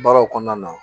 Baaraw kɔnɔna na